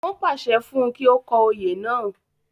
wọ́n pàṣẹ fún un kí ó kọ oyè náà